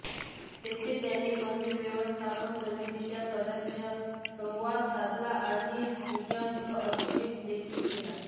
तेथे त्यांनी मंदिर व्यवस्थापन समितीच्या सदस्यांशी संवाद साधला आणि पूजासह अभिषेक देखील केला